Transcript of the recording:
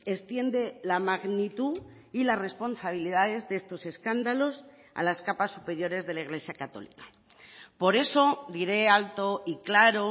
extiende la magnitud y las responsabilidades de estos escándalos a las capas superiores de la iglesia católica por eso diré alto y claro